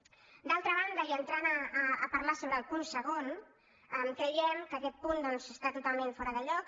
d’altra banda i entrant a parlar sobre el punt segon creiem que aquest punt doncs està totalment fora de lloc